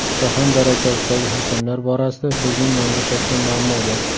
Jahon darajasidagi hakamlar borasida bizning mamlakatda muammo bor.